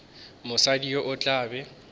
mosadi yo o tla be